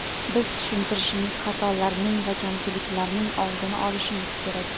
Biz tushuntirishimiz, xatolarning va kamchiliklarning oldini olishimiz kerak.